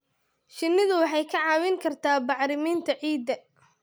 Shinnidu waxay kaa caawin kartaa bacriminta ciidda.